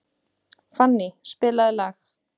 Fanny, spilaðu lag.